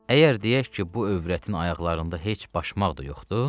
Əgər deyək ki, bu övrətin ayaqlarında heç başmaq da yoxdur.